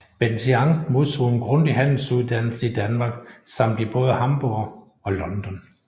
Benthien modtog en grundig handelsuddannelse i Danmark samt i både Hamborg og London